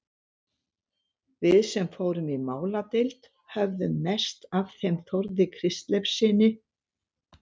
Við sem fórum í máladeild höfðum mest af þeim Þórði Kristleifssyni